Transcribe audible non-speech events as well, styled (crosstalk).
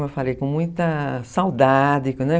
muita, saudade (unintelligible)